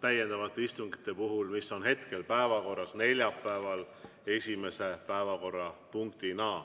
täiendavate istungite puhul, mis on hetkel päevakorras neljapäeval esimese päevakorrapunktina.